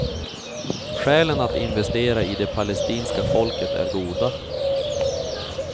Skälen att investera i det palestinska folket är goda.